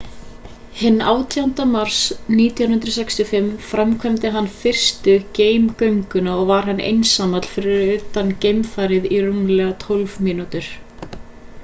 hinn 18. mars 1965 framkvæmdi hann fyrstu geimgönguna og var hann einsamall fyrir utan geimfarið í rúmar tólf mínútur